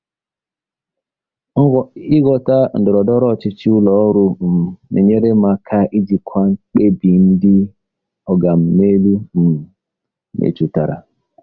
Ịghọta ndọrọndọrọ ọchịchị ụlọ ọrụ um na-enyere m aka ijikwa mkpebi ndị “oga m n'elu” um metụtara.